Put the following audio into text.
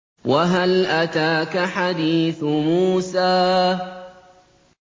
وَهَلْ أَتَاكَ حَدِيثُ مُوسَىٰ